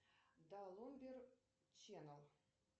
даламбер ченел